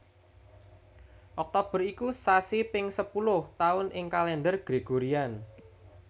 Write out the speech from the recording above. Oktober iku sasi ping sepuluh taun ing Kalendher Gregorian